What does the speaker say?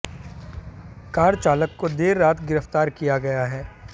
car चालक को देर रात गिरफ्तार किया गया है